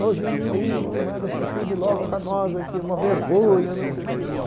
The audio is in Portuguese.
O Jimirim, não manda esse filme logo para nós aqui, é uma vergonha, não sei o quê.